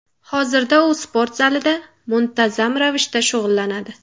Hozirda u sport zalida muntazam ravishda shug‘ullanadi.